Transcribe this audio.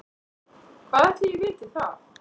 Hvað ætli ég viti það.